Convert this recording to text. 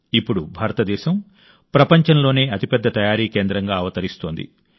ఇప్పుడు భారతదేశం ప్రపంచంలోనే అతిపెద్ద తయారీ కేంద్రంగా అవతరిస్తోంది